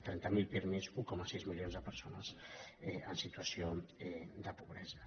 trenta mil pirmi un coma sis milions de persones en situació de pobresa